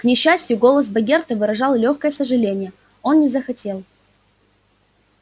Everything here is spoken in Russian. к несчастью голос богерта выражал лёгкое сожаление он не захотел